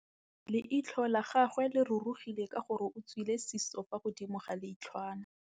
Leitlhô la gagwe le rurugile ka gore o tswile sisô fa godimo ga leitlhwana.